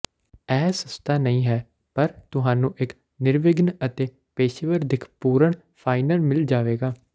ਇਹ ਸਸਤਾ ਨਹੀਂ ਹੈ ਪਰ ਤੁਹਾਨੂੰ ਇੱਕ ਨਿਰਵਿਘਨ ਅਤੇ ਪੇਸ਼ੇਵਰ ਦਿੱਖਪੂਰਣ ਫਾਈਨਲ ਮਿਲ ਜਾਵੇਗਾ